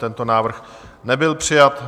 Tento návrh nebyl přijat.